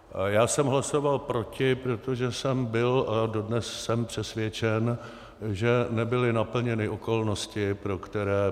Já jsem hlasoval proti, protože jsem byl a dodnes jsem přesvědčen, že nebyly naplněny okolnosti, pro které